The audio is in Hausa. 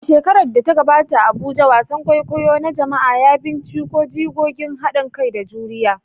A shekarar da ta gabata a Abuja, wasan kwaikwayo na jama'a ya binciko jigogin hadin kai da juriya